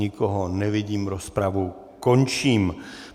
Nikoho nevidím, rozpravu končím.